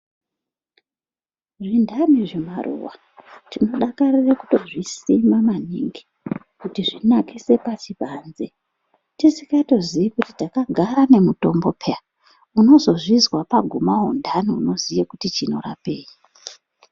Zvindani zvemaruva tinodakarire kutozvisima maningi kuti zvinakise basi panze. Tisingatoziyi kuti takagara nemutombo peya unozozvizwa paguma undani unoziya kuti chinorapei.